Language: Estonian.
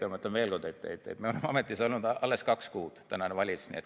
Ja ma ütlen veel kord, et tänane valitsus on ametis olnud alles kaks kuud.